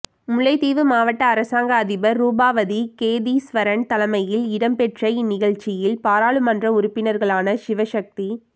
முல்லைத்தீவு மாவட்ட அரசாங்க அதிபர் ரூபவதி கேதீஸ்வரன் தலைமையில்இடம்பெற்ற இந்நிகழ்வில் பாராளுமன்ற உறுப்பினர்களான சிவசக்தி